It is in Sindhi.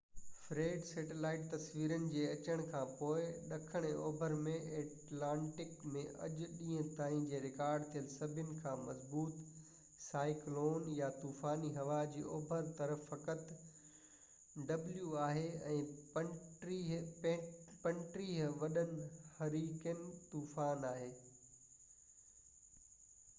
فريڊ، سيٽلائيٽ تصويرون جي اچڻ کان پوءِ ڏکڻ ۽ اوڀر ۾ ايٽلانٽڪ ۾ اڄ ڏينهن تائين جي رڪارڊ ٿيل سڀني کان مضبوط سائيڪلون يا طوفاني هوا آهي، ۽ 35°w جي اوڀر طرف فقط ٽيون وڏو هُريڪين طوفان آهي